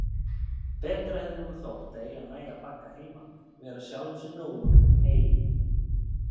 Betra hefði honum þótt að eiga næga bagga heima, vera sjálfum sér nógur um hey.